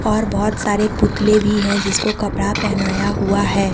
और बहोत सारे पुतले भी हैं जिसको कपड़ा पहनाया हुआ है।